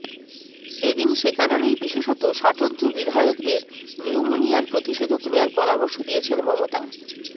এদিন সেকারণেই বিশেষত ষাটোর্ধ্ব বিধায়কদের নিউমোনিয়ার প্রতিষেধক নেওয়ার পরামর্শ দিয়েছেন মমতা